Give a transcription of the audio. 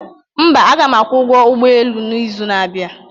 mba, aga m akwụ ụgwọ ụgbọ elu n'izu na-abịa